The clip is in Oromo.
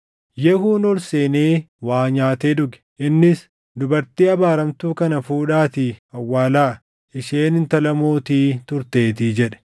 Yehuun ol seenee waa nyaatee dhuge. Innis, “Dubartii abaaramtuu kana fuudhaatii awwaalaa; isheen intala mootii turteetii” jedhe.